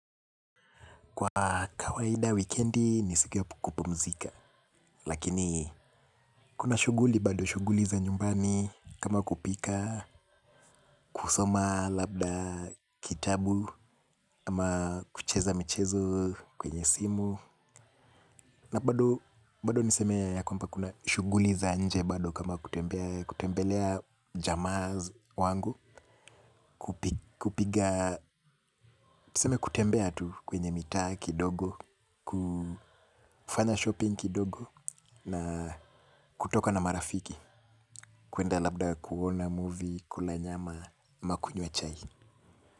Kwa kawaida wikendi ni siku ya kupumzika. Lakini kuna shuguli bado shuguli za nyumbani. Kama kupika, kusoma labda kitabu kama kucheza michezo kwenye simu na bado niseme ya kwamba kuna shuguli za nje bado. Kama kutembelea jamaz wangu. Kupiga, niseme kutembea tu kwenye mita kidogo. Kufanya shopping kidogo na kutoka na marafiki kuenda labda kuona movie. Kula nyama ama kunywa chai.